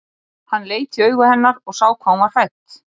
Hann leit í augu hennar og sá hvað hún var hrædd.